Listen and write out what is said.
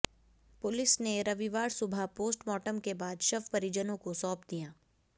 police ने रविवार सुबह पोस्टमार्टम के बाद शव परिजनों को सौंप दिया